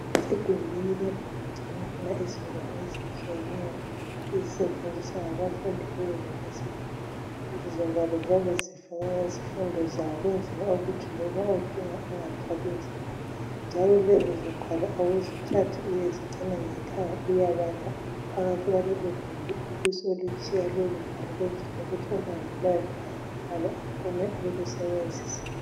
Egumbini lapho okugcinwa khona izingwalo ezitshiyeneyo ezisetshenziswa ngabafundi be university, lezozingwalo ziyabe zifakwe ngezifundo zawo ukwenzela ukuthi ma uzidinga ungathwalinzima , njalo lezizingwalo awuzithathi uyezigcina ngekhaya uyabala uphakathi kwaleligumbi ubusulutshiya ukuze olandelayo akhone ukulusebenzisa.